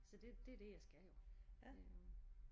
Så det det er det jeg skal jo øh